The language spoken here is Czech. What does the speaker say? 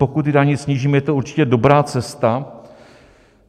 Pokud ty daně snížíme, je to určitě dobrá cesta.